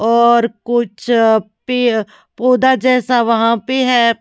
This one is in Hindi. और कुछ पौधा जैसा वहां पे है।